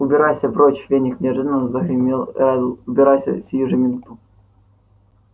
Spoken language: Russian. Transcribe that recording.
убирайся прочь феникс неожиданно загремел реддл убирайся сию же минуту